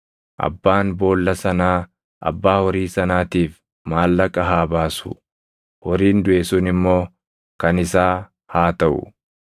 abbaan boolla sanaa abbaa horii sanaatiif maallaqa haa baasu; horiin duʼe sun immoo kan isaa haa taʼu.